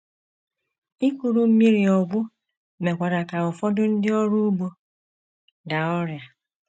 Ikuru mmiri ọgwụ mekwara ka ụfọdụ ndị ọrụ ugbo daa ọrịa.